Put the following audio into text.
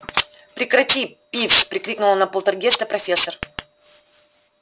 прекрати пивз прикрикнула на полтергейста профессор